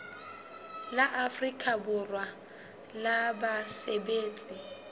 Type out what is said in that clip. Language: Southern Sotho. la afrika borwa la basebetsi